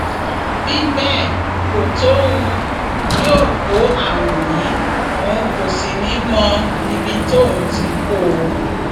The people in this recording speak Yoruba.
bí bẹẹ kò tóhun yóò kó àrùn yìí òun kò sì ní í mọ ibi tí òun ti kó o